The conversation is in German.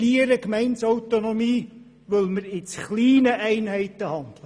Wir verlieren Gemeindeautonomie, weil wir in zu kleinen Einheiten handeln.